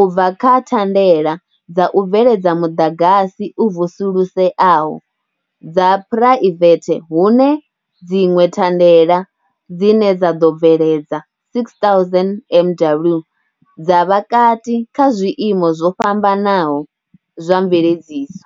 u bva kha thandela dza u bveledza muḓagasi u vusuluseaho dza phuraivethe hune dziṅwe thandela dzine dza ḓo bveledza 6,000 MW dza vha kati kha zwiimo zwo fhambanaho zwa mveledziso.